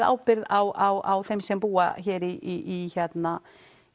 ábyrgð á þeim sem búa hér í hérna